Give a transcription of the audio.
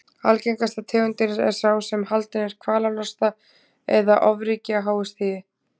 Algengasta tegundin er sá sem haldinn er kvalalosta eða ofríki á háu stigi.